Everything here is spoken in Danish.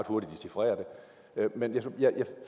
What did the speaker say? hurtigt dechifrere det men jeg